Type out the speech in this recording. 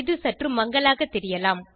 இது சற்று மங்கலாக தெரியலாம்